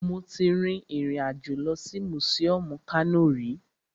Mo ti rin ìrìn àjò lọ sí mùsíọmù Kano rí